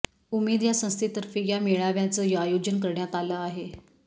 उमेद या संस्थेतर्फे या मेळाव्याचं आयोजन करण्यात आलं आहे